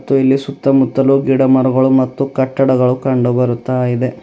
ಹಾಗೂ ಇಲ್ಲಿ ಸುತ್ತಮುತ್ತಲು ಗಿಡಮರಗಳು ಮತ್ತು ಕಟ್ಟಡಗಳು ಕಂಡು ಬರುತ್ತಾ ಇದೆ.